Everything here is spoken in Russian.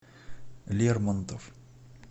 лермонтов